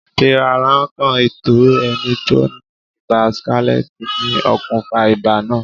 Fífarakan ìtọ́ ẹni tó ní Ibà skálẹ́tì ni okùnfà ibà náà.